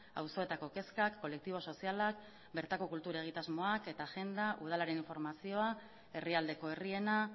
auzoetako kezkak kolektibo sozialak bertako kultur egitasmoak eta agenda udalaren informazioa herrialdeko herriena